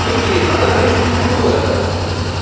окей надо выяснить кто это